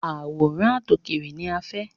Àwòrán àtòkèèrè ni a fẹ́.